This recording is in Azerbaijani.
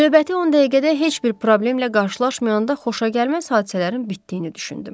Növbəti 10 dəqiqədə heç bir problemlə qarşılaşmayanda xoşagəlməz hadisələrin bitdiyini düşündüm.